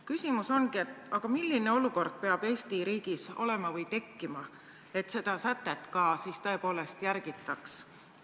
" Küsimus ongi, et aga milline olukord peab Eesti riigis olema või tekkima, et seda sätet siis tõepoolest järgitaks.